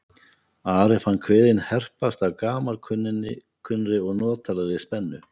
Ari fann kviðinn herpast af gamalkunnri og notalegri spennu.